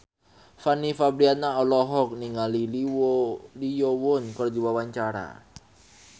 Fanny Fabriana olohok ningali Lee Yo Won keur diwawancara